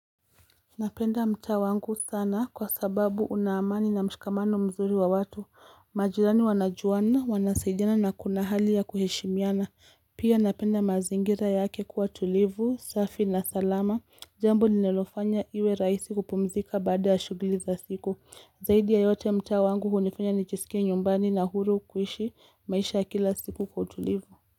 Napenda mtaa wangu sana kwa sababu una amani na mshikamano mzuri wa watu. Majirani wanajuana, wanasaidiana na kuna hali ya kuheshimiana. Pia napenda mazingira yake kuwa tulivu, safi na salama. Jambo linalofanya iwe raihsi kupumzika baada ya shughuli za siku. Zaidi ya yote mtaa wangu hunifanya nijisikie nyumbani na huru kuishi maisha kila siku kwa tulivu.